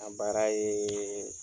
A baara ye